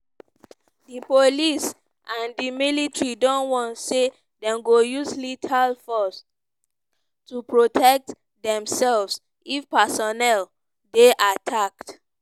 di police and di military don warn say dem go use lethal force to protect demsefs if personnel dey attacked.